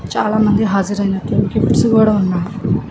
చాలామంది హాజారు అయినట్లు కేప్పుసి కూడా ఉన్నాడు.